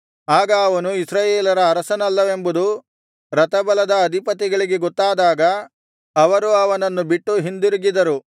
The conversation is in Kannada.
ಆಗ ಅವನು ಇಸ್ರಾಯೇಲ್ಯರ ಅರಸನಲ್ಲವೆಂಬುದು ರಥಬಲದ ಅಧಿಪತಿಗಳಿಗೆ ಗೊತ್ತಾದಾಗ ಅವರು ಅವನನ್ನು ಬಿಟ್ಟು ಹಿಂದಿರುಗಿದರು